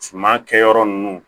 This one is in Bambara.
Suma kɛyɔrɔ ninnu